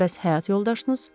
Bəs həyat yoldaşınız?